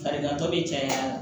Farigantɔ bɛ caya